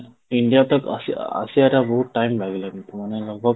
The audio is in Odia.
India ତ ଆସି ଅ ଆସିବାଟା ବହୁତ time ଲାଗିଲାନି ମାନେ